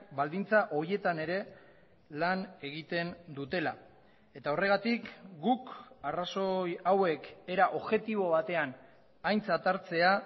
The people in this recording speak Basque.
baldintza horietan ere lan egiten dutela eta horregatik guk arrazoi hauek era objektibo batean aintzat hartzea